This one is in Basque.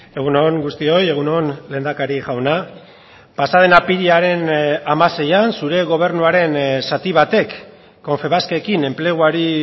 egun on guztioi egun on lehendakari jauna pasa den apirilaren hamaseian zure gobernuaren zati batek confebaskekin enpleguari